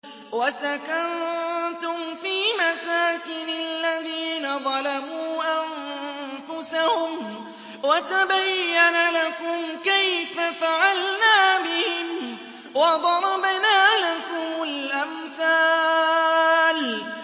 وَسَكَنتُمْ فِي مَسَاكِنِ الَّذِينَ ظَلَمُوا أَنفُسَهُمْ وَتَبَيَّنَ لَكُمْ كَيْفَ فَعَلْنَا بِهِمْ وَضَرَبْنَا لَكُمُ الْأَمْثَالَ